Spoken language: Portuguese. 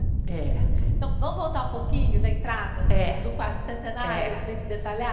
É. Então, vamos voltar um pouquinho da entrada. É. Do quarto centenário. É. Para a gente detalhar?